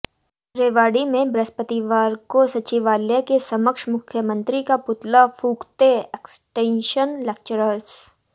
रेवाड़ी में बृहस्पतिवार को सचिवालय के समक्ष मुख्यमंत्री का पुतला फूंकते एक्सटेंशन लेक्चरर्स